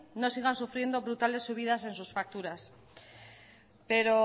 no sigan sufriendo brutales subidas en sus facturas pero